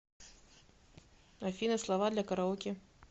афина слова для караоке